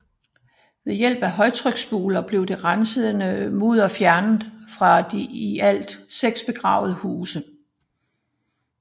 Ved hjælp af højtryksspulere blev det resterende mudder fjernet fra de i alt seks begravede huse